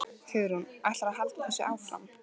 Hugrún: Ætlarðu að halda þessu áfram?